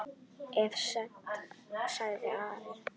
Of seint, sagði Ari.